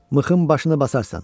Mıxın başını basarsan.